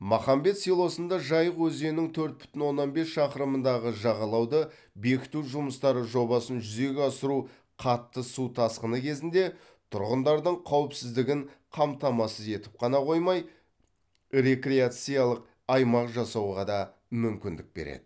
махамбет селосында жайық өзенінің төрт бүтін оннан бес шақырымындағы жағалауды бекіту жұмыстары жобасын жүзеге асыру қатты су тасқыны кезінде тұрғындардың қауіпсіздігін қамтамасыз етіп қана қоймай рекреациялық аймақ жасауға да мүмкіндік береді